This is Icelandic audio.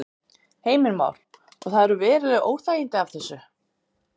Heimir Már: Og það eru veruleg óþægindi af þessu?